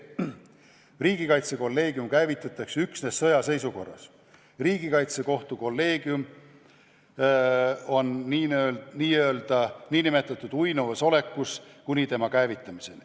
Riigikaitsekolleegium käivitatakse üksnes sõjaseisukorra ajal ja kuni käivitamiseni on ta n-ö uinuvas olekus.